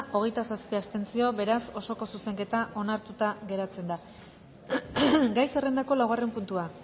hogeita zazpi abstentzio beraz osoko zuzenketa onartuta geratzen da gai zerrendako laugarren puntua